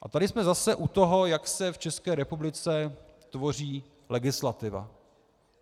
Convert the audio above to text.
A tady jsme zase u toho, jak se v České republice tvoří legislativa.